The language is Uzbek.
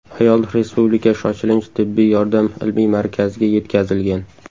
Ayol Respublika shoshilinch tibbiy yordam ilmiy markaziga yetkazilgan.